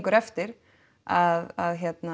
eftir að